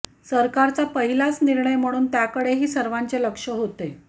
सरकारचा पहिलाच निर्णय म्हणून त्याकडेही सर्वांचे लक्ष होते